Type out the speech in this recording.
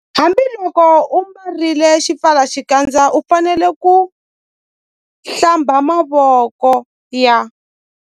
Hambiloko u ambarile xipfalaxikandza u fanele ku- Hlamba mavoko ya.